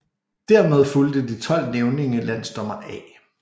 Dermed fulgte de 12 nævninge landsdommer A